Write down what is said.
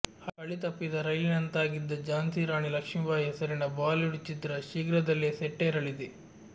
ಹಳಿ ತಪ್ಪಿದ ರೈಲಿನಂತಾಗಿದ್ದ ಝಾನ್ಸಿ ರಾಣಿ ಲಕ್ಷ್ಮಿಬಾಯಿ ಹೆಸರಿನ ಬಾಲಿವುಡ್ ಚಿತ್ರ ಶೀಘ್ರದಲ್ಲೇ ಸೆಟ್ಟೇರಲಿದೆ